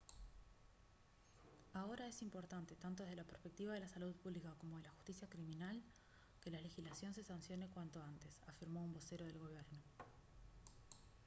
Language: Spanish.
«ahora es importante tanto desde la perspectiva de la salud pública como de la justicia criminal que la legislación se sancione cuanto antes» afirmó un vocero del gobierno